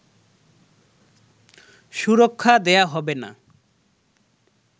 সুরক্ষা দেয়া হবে না